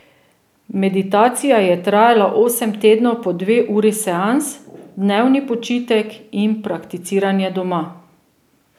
Meditacija je trajala osem tednov po dve uri seans, dnevni počitek in prakticiranje doma.